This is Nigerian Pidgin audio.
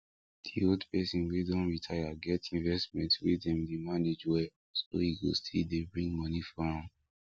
the old person wey don retire get investment wey dem dey manage well so e go still dey bring money for am